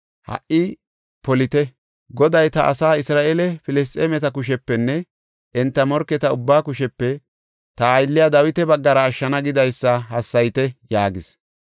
Ha77i polite! Goday, ‘Ta asaa Isra7eele, Filisxeemeta kushepenne enta morketa ubbaa kushepe ta aylliya Dawita baggara ashshana’ gidaysa hassayite” yaagis.